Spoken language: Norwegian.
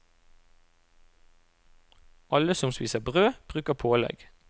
Alle som spiser brød, bruker pålegg.